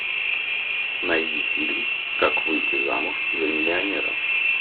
найди фильм как выйти замуж за миллионера